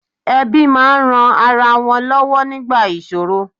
Ẹbí máa ń ran ara wọn lọ́wọ́ nígbà ìṣòro